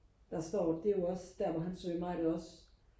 der står det er jo også der hvor han svømmer ikke også